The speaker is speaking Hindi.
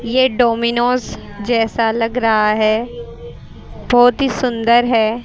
ये डोमिनोज जैसा लग रहा है बहोत ही सुन्दर है।